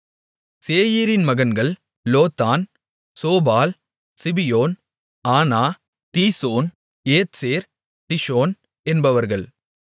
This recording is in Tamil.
சேயீரின் மகன்கள் Lotan Shobal Zibeon Anah Dishon Ezer Dishan என்பவர்கள்